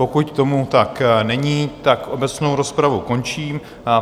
Pokud tomu tak není, tak obecnou rozpravu končím.